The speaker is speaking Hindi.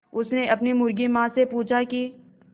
उसने अपनी मुर्गी माँ से पूछा की